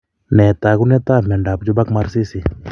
Nee taakuntaab myondap Juberg Marsisi?